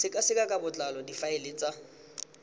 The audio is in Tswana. sekaseka ka botlalo difaele tsa